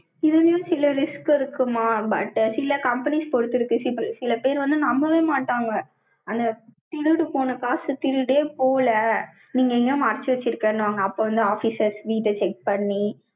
இதுலயும், சில risk இருக்குமா? but சில companies பொறுத்திருக்கு, சில பேர் வந்து, நம்பவே மாட்டாங்க. அந்த, திருடு போன காசை, திருடியே போல, நீங்க, எங்கயும், மறைச்சு வச்சிருக்கேன்னுவாங்க. அப்ப வந்து, officers வீட்டை check பண்ணி,